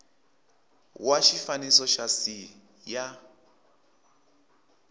wa xifaniso xa c ya